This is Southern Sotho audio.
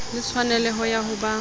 le tshwaneleho ya ho ba